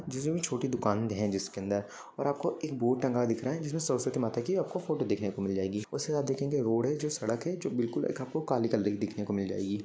जिसमे छोटी दुकान है। जिसके अंदर और आपको एक बोर्ड टंगा हुआ दिख रहा है। जिसमे सरसवती माता की आपको फोटो देखने को मिल जाएगी। उसके साथ देखेंगे जो रोड है। जो सड़क है। जो बिलकुल एक आपको काली काली देखने को मिल जाएगी।